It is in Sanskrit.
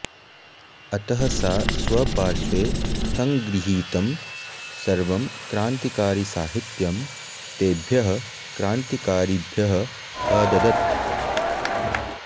अतः सा स्वपार्श्वे सङ्गृहीतं सर्वं क्रान्तिकारिसाहित्यं तेभ्यः क्रान्तिकारिभ्यः अददत्